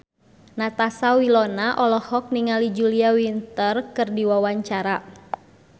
Natasha Wilona olohok ningali Julia Winter keur diwawancara